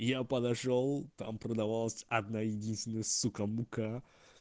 и я подошёл там продавался одна единственная сука мука